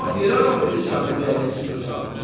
Nahaq yerə ağlayırsan, ürəyini sıxırsan.